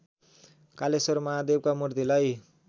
कालेश्वर महादेवका मूर्तिलाई